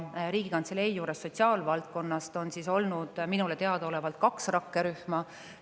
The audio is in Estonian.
Riigikantselei juures on sotsiaalvaldkonnas olnud minule teadaolevalt kaks rakkerühma.